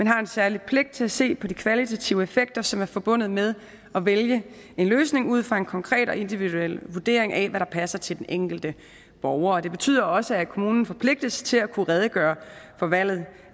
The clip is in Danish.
har en særlig pligt til at se på de kvalitative effekter som er forbundet med at vælge en løsning ud fra en konkret og individuel vurdering af hvad der passer til den enkelte borger og det betyder også at kommunen forpligtes til at kunne redegøre for valget